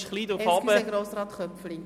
Entschuldigen Sie, Grossrat Köpfli.